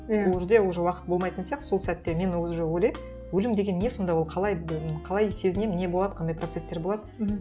иә ол жерде уже уақыт болмайтын сиқты сол сәтте мен уже ойлаймын өлім деген не сонда ол қалай қалай сезінемін не болады қандай процестер болады мхм